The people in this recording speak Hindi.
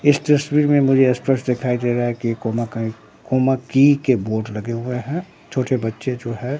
इस तस्वीर में मुझे स्पष्ट दिखाई दे रहा है की कोमा कइ कोमा की के बोर्ड लगे हुए हैं छोटे बच्चे जो है।